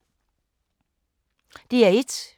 DR1